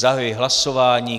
Zahajuji hlasování.